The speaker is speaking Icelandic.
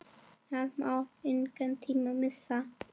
Það má engan tíma missa!